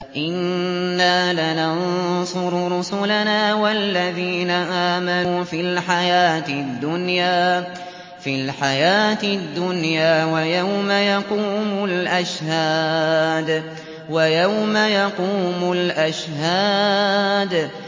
إِنَّا لَنَنصُرُ رُسُلَنَا وَالَّذِينَ آمَنُوا فِي الْحَيَاةِ الدُّنْيَا وَيَوْمَ يَقُومُ الْأَشْهَادُ